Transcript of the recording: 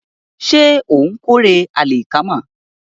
Ṣé ó ń kórè àlìkámà?